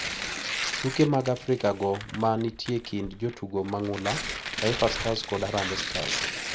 Tuke mag Afrika go ma nitie e kind jotugo mang`ula Taifa Stars kod Harambee Stars.